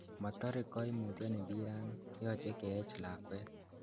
Motore koimutioniton mbirani, yoche keech lakwet.